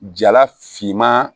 Jala finman